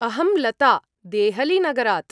अहं लता, देहलीनगरात्।